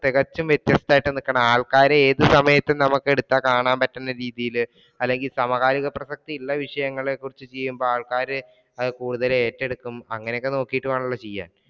തികച്ചും വ്യത്യസ്തമായിട്ട് നിൽക്കണം, ആൾക്കാരെ ഏതു സമയത്തു നമുക്ക് എടുത്താൽ കാണാൻ പറ്റുന്ന രീതിയിൽ അല്ലെങ്കിൽ സമകാലിക പ്രസക്തി ഉള്ള വിഷയങ്ങളെ കുറിച്ച് ചെയ്യുമ്പോൾ ആൾക്കാർ അത് കൂടുതൽ ഏറ്റെടുക്കും അങ്ങനെയൊക്കെ നോക്കിയിട്ട് വേണമെല്ലോ ചെയ്യാൻ.